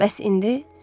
Bəs indi?